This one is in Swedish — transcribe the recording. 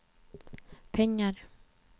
pengar